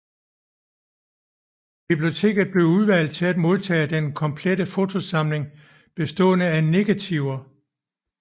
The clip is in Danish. Biblioteket blev udvalgt til at modtage den komplette fotosamling bestående af negativer